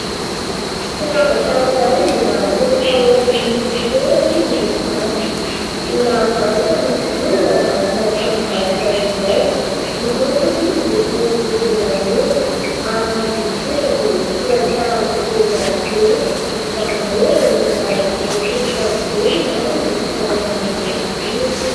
Firavaka iray mbola mipetraka eo amin'ny fitoerany miloko mainty. Mbola varotana izy io, ao anatina tranombarotra iray. Ny lokony miloko volombolamena, ary ny haingony kosa dia soratra litera "V" izany hoe olona miatomboka amin'ny "V" ny anarany no tsara manana azy io.